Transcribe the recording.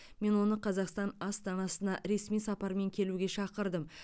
мен оны қазақстан астанасына ресми сапармен келуге шақырдым